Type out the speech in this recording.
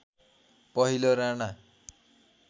पहिलो राणा